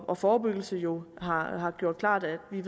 og forebyggelse jo har har gjort klart at vi